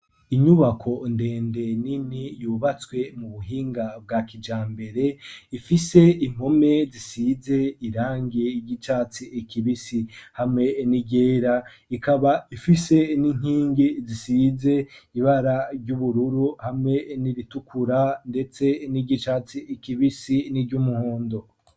Inyubako ndende nini yubatswe mu buhinga bwa kija mbere ifise impome zisize irange igicatsi ekibisi hamwe n'igera ikaba ifise n'inkingi zisize ibara ry'ubururu hamwe n'iritukura, ndetse n'igicatsi ekibie bisi ni ryo umuhundo.